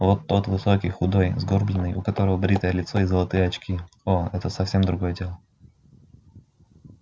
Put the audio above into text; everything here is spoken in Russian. вот тот высокий худой сгорбленный у которого бритое лицо и золотые очки о это совсем другое дело